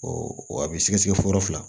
a bɛ sɛgɛsɛgɛ fɔlɔ fila